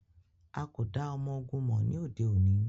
A ko da ọmọ-ogun mọ ni ode oni.